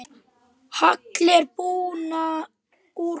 Hagl er buna úr kú.